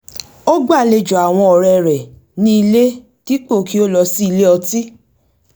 ó gbàlejò àwọn ọ̀rẹ́ rẹ̀ ní ilé dípò kí ó lọ sí ilé ọtí